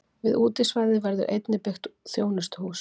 Við útisvæðið verður einnig byggt þjónustuhús.